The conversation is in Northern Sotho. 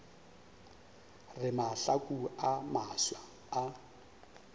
re mahlaku a mafsa a